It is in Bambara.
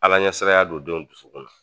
Ala ɲɛsaranya don denw dusukun na.